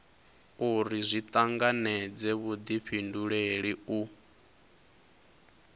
uri zwi tanganedze vhudifhinduleli u